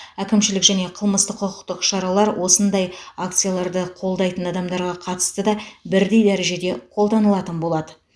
әкімшілік және қылмыстық құқықтық шаралар осындай акцияларды қолдайтын адамдарға қатысты да бірдей дәрежеде қолданылатын болады